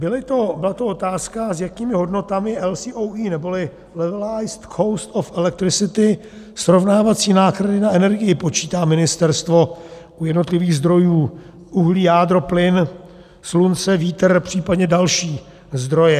Byla to otázka, s jakými hodnotami LCOE, neboli levelized cost of elecricity, srovnávací náklady na energii počítá ministerstvo u jednotlivých zdrojů - uhlí, jádro, plyn, slunce, vítr, případně další zdroje.